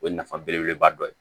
O ye nafa belebeleba dɔ ye